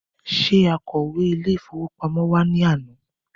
Ṣé akọ̀wé Ilé-ìfowópamó wa ní àná?